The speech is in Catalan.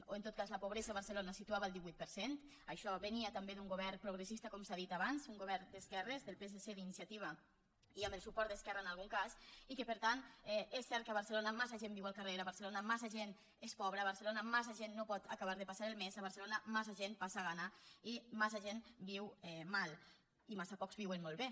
o en tot cas la pobresa a barcelona es situava al divuit per cent això venia també d’un govern progressista com s’ha dit abans d’un govern d’esquerres del psc d’iniciativa i amb el suport d’esquerra en algun cas i que per tant és cert que a barcelona massa gent viu al carrer a barcelona massa gent és pobra a barcelona massa gent no pot acabar de passar el mes a barcelona massa gent passa gana i massa gent viu mal i massa pocs viuen molt bé